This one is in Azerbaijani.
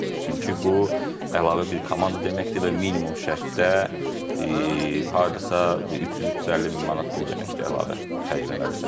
Çünki bu əlavə bir komanda deməkdir və minimum şərtdə hardasa 300-350 min manat pul deməkdir, əlavə xərcləməlisən sən.